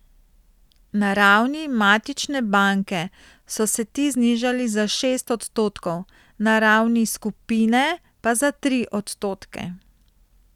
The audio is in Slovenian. Na ravni matične banke so se ti znižali za šest odstotkov, na ravni skupine pa za tri odstotke.